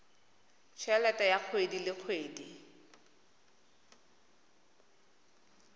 helete ya kgwedi le kgwedi